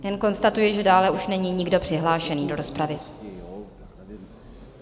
Jen konstatuji, že dále už není nikdo přihlášený do rozpravy.